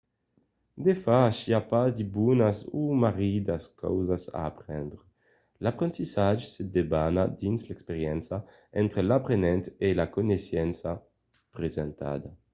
de fach i a pas de bonas o marridas causas a aprendre. l'aprendissatge se debana dins l’experiéncia entre l’aprenent e la coneissença presentada